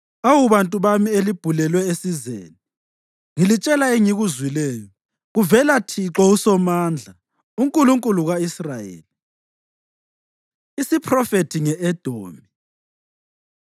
Awu bantu bami elibhulelwe esizeni, ngilitshela engikuzwileyo kuvela Thixo uSomandla, uNkulunkulu ka-Israyeli. Isiphrofethi Nge-Edomi